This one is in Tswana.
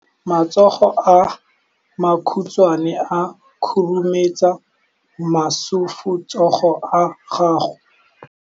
Matsogo a makhutshwane a khurumetsa masufutsogo a gago.